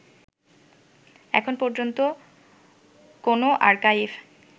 এখন পর্যন্ত কোন আর্কাইভ